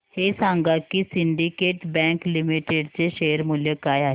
हे सांगा की सिंडीकेट बँक लिमिटेड चे शेअर मूल्य काय आहे